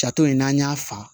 Jato in n'an y'a fa